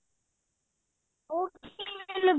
ਉਹ ਕਿਵੇਂ